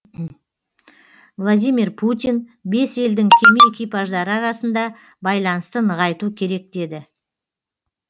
владимир путин бес елдің кеме экипаждары арасында байланысты нығайту керек деді